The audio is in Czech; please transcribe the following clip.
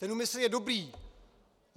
Ten úmysl je dobrý.